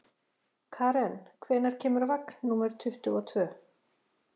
Karen, hvenær kemur vagn númer tuttugu og tvö?